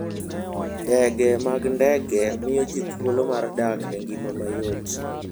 Ndege mag ndege miyo ji thuolo mar dak e ngima mayot.